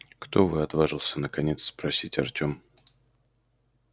кто вы отважился наконец спросить артем